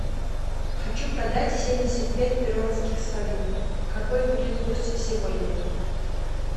хочу продать семьдесят пять перуанских солей какой будет курс сегодня